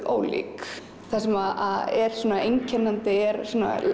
ólík það sem er einkennandi er